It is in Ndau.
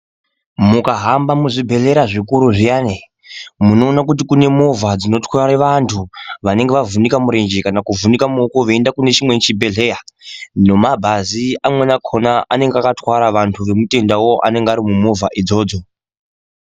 Mukahamba muzvibhehlera zvikuru zviyani, munoona kuti kune movha dzinotwara vanthu ,vanenge vavhunika murenje kana kuvhunika muoko veienda kune chimweni chibhehleya ,nomabhazi amweni akhona anenge akatwara vanthu nemutendawo anenge ari mumovha idzodzo.